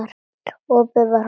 Opið var horfið.